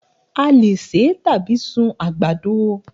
A lè ṣe tàbí sun àgbàdo